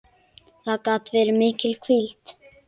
Það gat verið mikil hvíld.